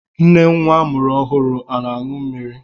Nne nwa amụrụ ọhụrụ ana-aṅụ mmiri?